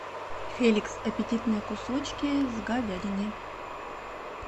феликс аппетитные кусочки с говядиной